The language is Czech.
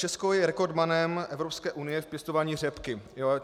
Česko je rekordmanem Evropské unie v pěstování řepky.